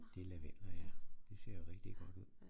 Det er lavendler ja det ser jo rigtig godt ud